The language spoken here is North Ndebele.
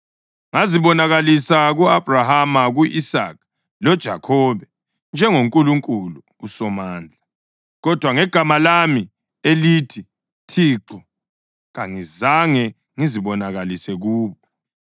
Ngazibonakalisa ku-Abhrahama, ku-Isaka lakuJakhobe njengoNkulunkulu uSomandla, kodwa ngegama lami elithi Thixo kangizange ngizibonakalise kubo.